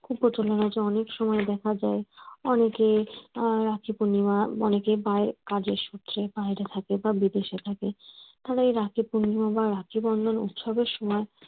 খুব প্রচলন হয়েছে অনেক সময় দেখা যায় অনেকে আহ রাখি পূর্ণিমা অনেকে বায় কাজের সূত্রের বাইরে থাকে বা বিদেশে থাকে তাদের রাখি পূর্ণিমা বা রাখি বন্ধন উৎসবের সময়